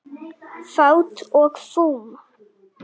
Fát og fum